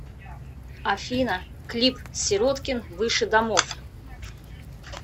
афина клип сироткин выше домов